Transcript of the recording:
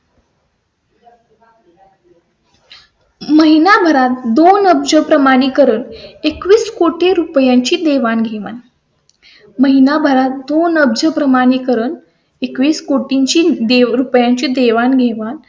महिनाभरात दोन अब्ज प्रमाणे करून एकवीस कोटी ची देवाणघेवाण महिनाभरात दोन अब्ज प्रमाणे करून एकवीस कोटी ची रुपयांची देवाणघेवाण